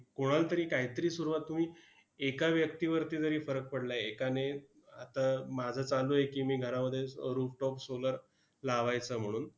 कोणालातरी कायतरी सुरुवात होईल. एका व्यक्तीवरती जरी फरक पडला, एकाने आता माझं चालू आहे की, मी घरामध्ये rooftop solar लावायचा म्हणून.